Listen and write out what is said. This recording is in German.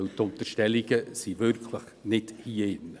Denn die Unterstellungen sind wirklich nicht hier drinnen.